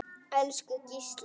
Elsku Gísli.